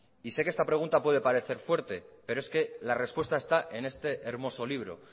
y sé que esta pregunta puede parecer fuerte pero es que la respuesta está en este hermoso libro